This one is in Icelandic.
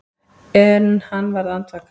En hann varð andvaka.